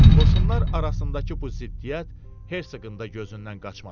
Qoşunlar arasındakı bu ziddiyyət Hersoqın da gözündən qaçmadı.